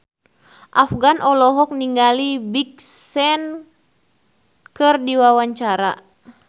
Afgan olohok ningali Big Sean keur diwawancara